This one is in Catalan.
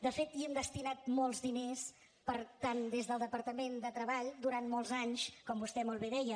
de fet hi hem destinat molts diners per tant des del departament de treball durant molts anys com vostè molt bé deia